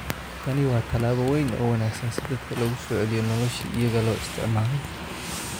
Tani waa tallaabo weyn oo wanaagsan si dadka loogu soo celiyo noloshii iyaga loo isticmaalay."